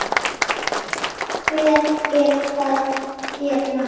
Hvað er að þér, maður?